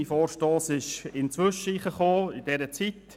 Mein Vorstoss erfolgte in dieser Zeit.